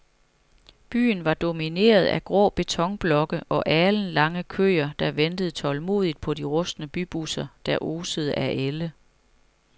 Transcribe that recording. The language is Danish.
Byen var domineret af grå betonblokke og alenlange køer, der ventede tålmodigt på de rustne bybusser, der osede af ælde.